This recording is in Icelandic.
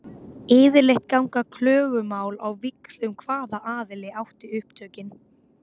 Yfirleitt ganga klögumál á víxl um hvaða aðili átti upptökin.